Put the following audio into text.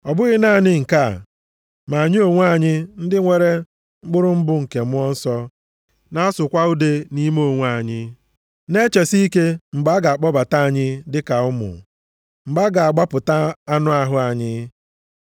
Ọ bụghị naanị nke a, ma anyị onwe anyị, ndị nwere mkpụrụ mbụ nke Mmụọ Nsọ, na-asụkwa ude nʼime onwe anyị, na-echesi ike mgbe a ga-akpọbata anyị dịka ụmụ, mgbe a ga-agbapụta anụ ahụ anyị.